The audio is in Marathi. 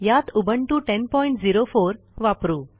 यात उबुंटू 1004 वापरू